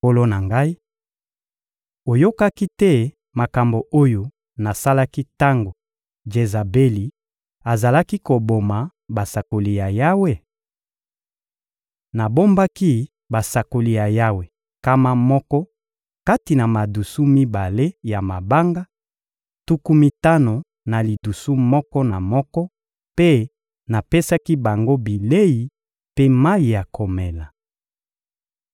Nkolo na ngai, oyokaki te makambo oyo nasalaki tango Jezabeli azalaki koboma basakoli ya Yawe? Nabombaki basakoli ya Yawe nkama moko kati na madusu mibale ya mabanga: tuku mitano na lidusu moko na moko mpe napesaki bango bilei mpe mayi ya komela.